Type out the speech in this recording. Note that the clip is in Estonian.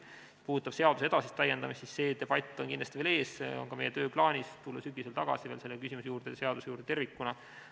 Mis puudutab seaduse edasist täiendamist, siis see debatt on kindlasti veel ees, see on ka meie tööplaanis, et tulla sügisel tagasi selle küsimuse juurde, selle seaduse juurde tervikuna.